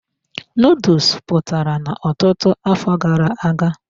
Nuduls pụtara n'ọtụtụ afọ gara aga.